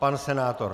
Pan senátor?